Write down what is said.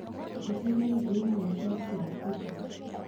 njĩtĩria irio imwe cia kĩafrika